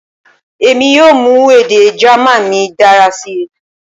Emi yoo mu ede German mi dara si